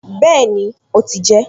Bẹ́ẹ̀ni, ó ti jẹ ẹ́